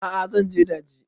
A'a zan je daji